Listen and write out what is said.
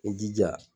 I jija